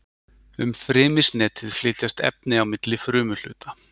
um frymisnetið flytjast efni milli frumuhluta